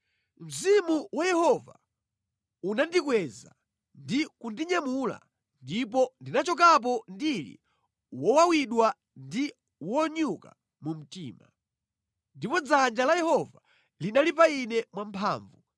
Mzimu wa Yehova unandikweza ndi kundinyamula ndipo ndinachokapo ndili wowawidwa ndi wonyuka mu mtima. Ndipo dzanja la Yehova linali pa ine mwa mphamvu.